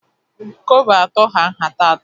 Kobo atọ hà nhata atọ